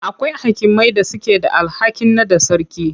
Akwai hakimai da suke da alhakin naɗa sarki.